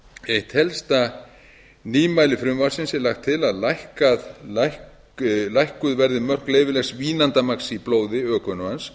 eitt helsta nýmæli frumvarpsins er að lagt er til að lækkuð verði mörk leyfilegs vínandamagns í blóði ökumanns